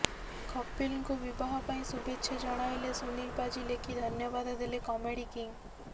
କପିଲଙ୍କୁ ବିବାହ ପାଇଁ ଶୁଭେଚ୍ଛା ଜଣାଇଲେ ସୁନିଲ ପାଜି ଲେଖି ଧନ୍ୟବାଦ ଦେଲେ କମେଡି କିଙ୍ଗ୍